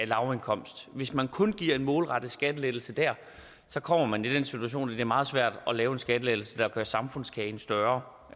lavindkomstgruppe hvis man kun giver en målrettet skattelettelse der kommer man i den situation at det er meget svært at lave en skattelettelse der gør samfundskagen større